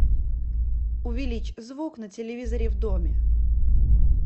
увеличь звук на телевизоре в доме